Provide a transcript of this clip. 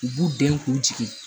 U b'u den k'u jigi